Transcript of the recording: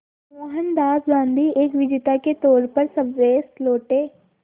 मोहनदास गांधी एक विजेता के तौर पर स्वदेश लौटे